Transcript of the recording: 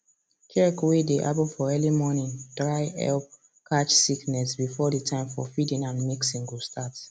check way dey happen for early morning dry help catch sickness before the time for feeding and mixing go start